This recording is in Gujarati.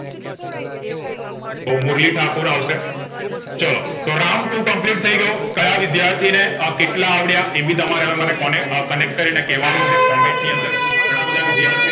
તો મુરલી ઠાકુર આવશે ચાલો round બે complete થઈગયો ક્યાં વિદ્યાર્થીને અ કેટલા આવડયા એભી તા મારે મને કોને connect કરી ને કેવા નું છે comment ની અંદર ઘણા બધા વિદ્યાર્થીઓ